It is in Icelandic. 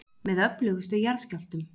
Með öflugustu jarðskjálftum